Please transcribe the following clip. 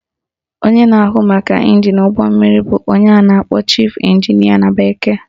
Onye na-ahụ maka ịnjin n'ụgbọ mmiri bụ onye a na-akpọ Chief Engineer na bekee